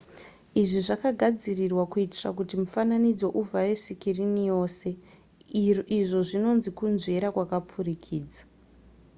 izvi zvakagadzirwa kuitira kuti mufananidzo uvhare sikirini rose izvo zvinonzi kunzvera kwakapfurikidza